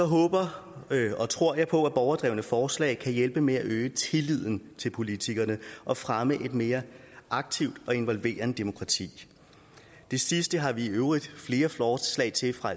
håber og tror jeg på at borgerdrevne forslag kan hjælpe med at øge tilliden til politikerne og fremme et mere aktivt og involverende demokrati det sidste har vi i øvrigt flere forslag til fra